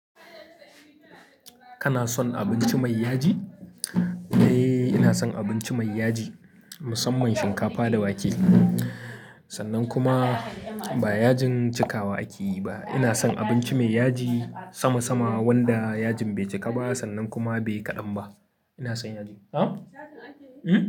Kana son abinci mai yaji? Eh ina son abinci mai yaji, musamman shinkafa da wake. Sannan kuma ba yajin cikawa akeyi ba. Ina son abinci mai yaji sama sama wanda yajin bai cika ba sannan kuma bai kaɗan ba. Ina son yaji. Na'am! Hm.